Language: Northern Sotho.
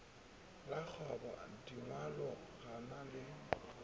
la bokgobadingwalo ga le na